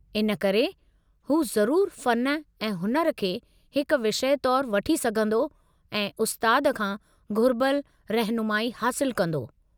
इन करे, हू ज़रूरु फ़न ऐं हुनुर खे हिक विषय तौर वठी सघंदो ऐं उस्ताद खां घुरिबलु रहिनुमाई हासिलु कंदो।